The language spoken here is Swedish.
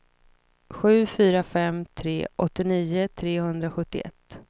sju fyra fem tre åttionio trehundrasjuttioett